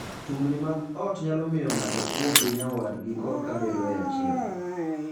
Tungni mag ot nyalo miyo ng'ato ok wuo gi nyawadgi korka bedoe achiel.